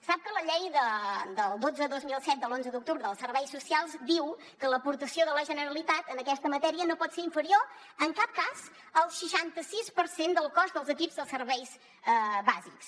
sap que la llei dotze dos mil set de l’onze d’octubre dels serveis socials diu que l’aportació de la generalitat en aquesta matèria no pot ser inferior en cap cas al seixanta sis per cent del cost dels equips dels serveis bàsics